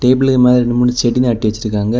டேபிளுக்கு மேல ரெண்டு மூணு செடி நாட்டி வச்சிருக்காங்க.